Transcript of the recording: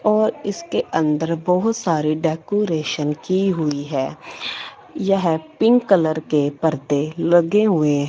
और इसके अंदर बहुत सारे डेकूरेशन की हुई है यह पिंक कलर के पर्दे लगे हुए--